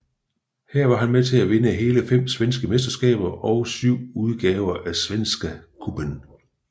Her var han med til at vinde hele fem svenske mesterskaber og syv udgaver af Svenska Cupen